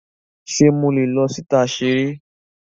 Ṣe mo le lọ síta ṣer?